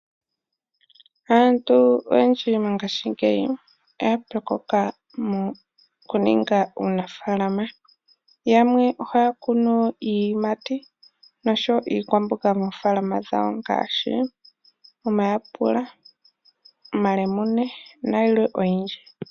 Aantu oyendji mongashingeyi oya pyokoka mokuninga uunafalama, yamwe ohaya kunu iiyimati nosho woo iikwamboga moofaalama dhawo ngaashi omayaapula, omalemune nayilwe oyindji.